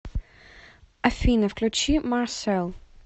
афина включи марсел